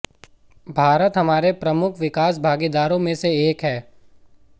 भारत हमारे प्रमुख विकास भागीदारों में से एक है